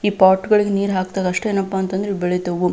ಈ ಪಾಟ್ಗಳಿಗೆ ನೀರ್ ಹಕ್ದಾಗ ಅಷ್ಟೇ ಏನಪ್ಪಾ ಅಂತಂದ್ರೆ ಬೆಳಿತವು.